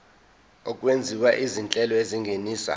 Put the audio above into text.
okwenziwa izinhlelo ezingenisa